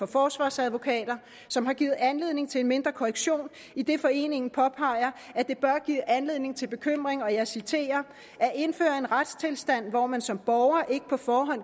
forsvarsadvokater som har givet anledning til en mindre korrektion idet foreningen påpeger at det bør give anledning til bekymring og jeg citerer at indføre en retstilstand hvor man som borger ikke på forhånd